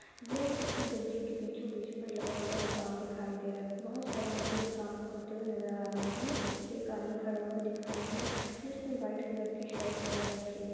यह किसी गड्ढें के बीचो-बीच पर लगा हुआ काम दिखाई दे रहा है। बहुत सारे मजदूर इस काम को करते हुए नजर आ रहे हैं। बीच पर एक आदमी खड़ा हुआ दिख रहा है जिसने व्हाइट कलर की शर्ट पहन रखी है।